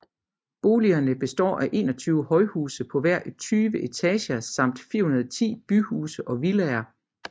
Boligerne består af 21 højhuse på hver 20 etager samt 410 byhuse og villaer